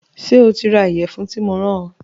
Ṣé o ti ra ìyẹ̀fun tí mo rán ọ